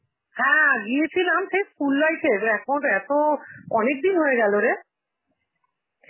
হ্যাঁ, গিয়েছিলাম সেই school life এ, এখন এত, অনেকদিন হয়ে গেল রে.